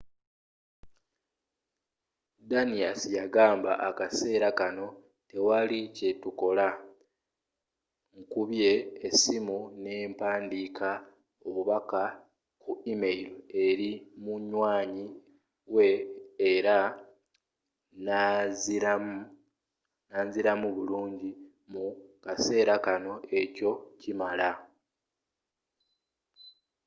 danius yagamba akaseera kano tewali kye tukola. nkubye essimu n’empandiika obubaka ku email eri munywanyi we era nanziramu bulungi. mu kaseera kano ekyo kimala.